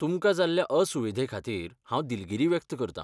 तुमकां जाल्ल्या असुविधेखातीर हांव दिलगीरी व्यक्त करतां.